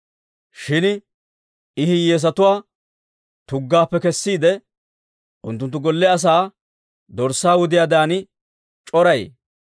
Shin I hiyyeesatuwaa tuggaappe kessiide, unttunttu golle asaa dorssaa wudiyaadan c'orayee.